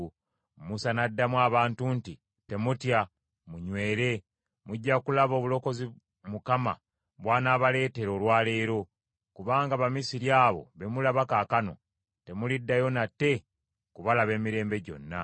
Musa n’addamu abantu nti, “Temutya, munywere, mujja kulaba obulokozi Mukama bw’anaabaleetera olwa leero. Kubanga Abamisiri abo be mulaba kaakano, temuliddayo nate kubalaba emirembe gyonna.